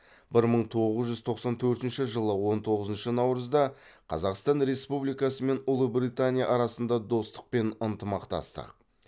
бір мың тоғыз жүз тоқсан төртінші он тоғызыншы наурызда қазақстан республикасы мен ұлыбритания арасында достық пен ынтымақтастық